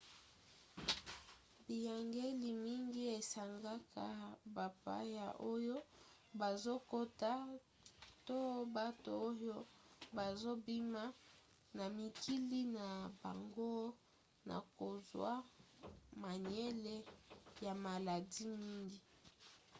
biyangeli mingi esengaka bapaya oyo bazokota to bato oyo bazobima na mikili na bango na kozwa mangwele ya maladi mingi